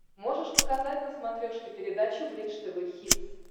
можешь показать на смотрешке передачу бридж тв хитс